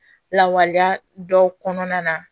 Lawaleya dɔw kɔnɔna na